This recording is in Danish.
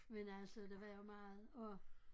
Men altså der var jo meget og